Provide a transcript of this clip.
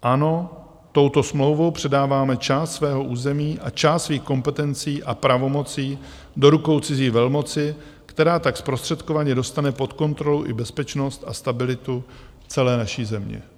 Ano, touto smlouvou předáváme část svého území a část svých kompetencí a pravomocí do rukou cizí velmoci, která tak zprostředkovaně dostane pod kontrolu i bezpečnost a stabilitu celé naší země.